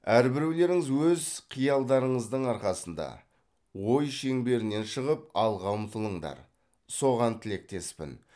әрбіреулеріңіз өз қиялдарыңыздың арқасында ой шеңберінен шығып алға ұмтылыңдар соған тілектеспін